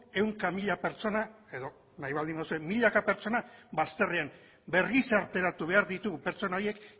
ehunka mila pertsona edo nahi baldin baduzue milaka pertsona bazterrean bergizarteratu behar ditugu pertsona horiek